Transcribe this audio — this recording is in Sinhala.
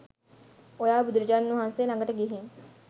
ඔයා බුදුරජාණන් වහන්සේ ලඟට ගිහින්